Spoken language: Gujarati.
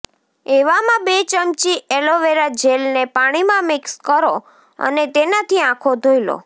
એવામાં બે ચમચી એલોવેરા જેલને પાણીમાં મિક્સ કરો અને તેનાથી આંખો ધોઇ લો